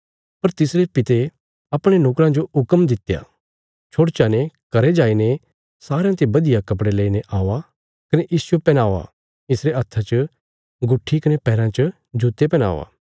पर तिसरे पिता अपणे नोकराँ जो हुक्म दित्या छोड़चा ने घरें जाईने सारयां ते बधिया कपड़े लेईने औआ कने इसजो पैहनाओ इसरे हत्था च गुट्ठी कने पैराँ च जुत्ते पैहनावा